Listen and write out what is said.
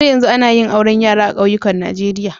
Har yanzu ana yin auren yara a kauyukan Najeriya